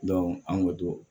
an ko don